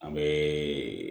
An bɛ